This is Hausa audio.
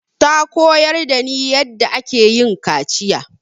Ta koyar da ni yanda ake yin kaciya